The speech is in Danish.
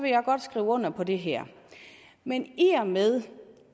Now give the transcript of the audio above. jeg godt skrive under på det her men i og med